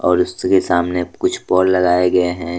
और उसी के सामने कुछ पोल लगाए गए है।